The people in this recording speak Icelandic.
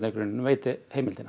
grunninn veiti heimildina